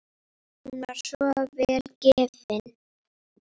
Hún var svo vel gefin.